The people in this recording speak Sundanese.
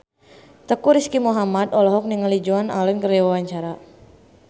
Teuku Rizky Muhammad olohok ningali Joan Allen keur diwawancara